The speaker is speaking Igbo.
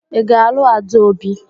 Ị ga-alụ Adaobi?